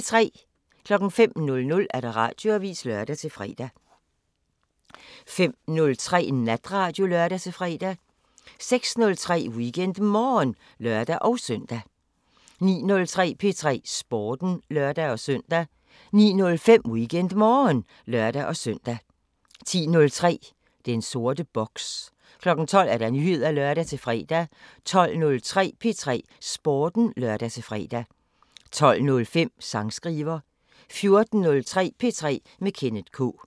05:00: Radioavisen (lør-fre) 05:03: Natradio (lør-fre) 06:03: WeekendMorgen (lør-søn) 09:03: P3 Sporten (lør-søn) 09:05: WeekendMorgen (lør-søn) 10:03: Den sorte boks 12:00: Nyheder (lør-fre) 12:03: P3 Sporten (lør-fre) 12:05: Sangskriver 14:03: P3 med Kenneth K